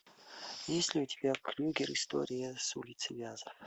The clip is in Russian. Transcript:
есть ли у тебя крюгер история с улицы вязов